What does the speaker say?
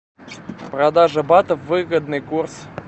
продажа батов выгодный курс